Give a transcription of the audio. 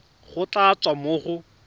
go tla tswa mo go